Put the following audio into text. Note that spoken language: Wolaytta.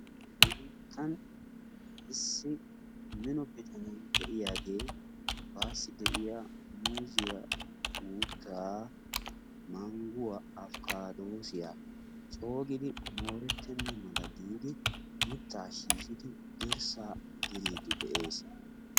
Nu biittan issi mino bitanee de'iyaage baasi de'iya muuzziya uutaa mangguwa afikaadoosiya cogidi moortetenna mala giidi mitaa shiishidi dirsaa diriidi de'ees.